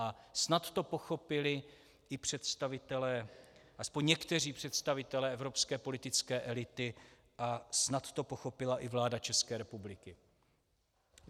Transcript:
A snad to pochopili i představitelé, aspoň někteří představitelé, evropské politické elity a snad to pochopila i vláda České republiky.